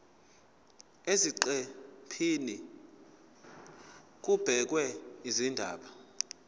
eziqephini kubhekwe izindaba